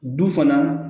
Du fana